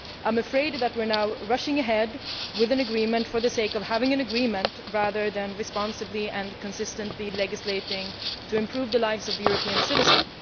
I am afraid that we are now rushing ahead with an agreement for the sake of having an agreement, rather than responsibly and consistently legislating to improve the lives of European citizens.